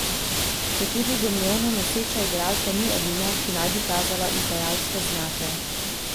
Četudi domnevno noseča igralka ni edina, ki naj bi kazala izdajalske znake.